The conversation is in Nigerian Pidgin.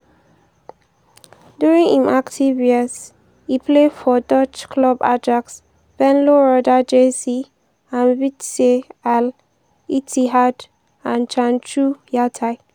during im active years e play for dutch club ajax venlo roda jc and vitesse al-ittihad and chanchug yatai.